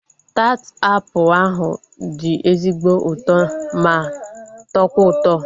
Taat apụl ahu dị ezigbo ụtọ ma tọkwa ụtọ